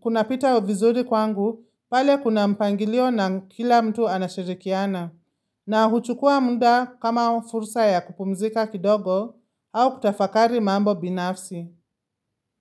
kunapita uvizuri kwangu pale kuna mpangilio na kila mtu anashirikiana. Na huchukua mda kama fursa ya kupumzika kidogo au kutafakari mambo binafsi.